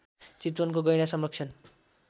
चितवनको गैंडा संरक्षण